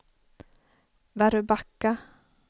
Väröbacka